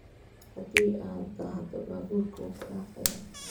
Hadii aaa dhadho baburka wuukudafaya.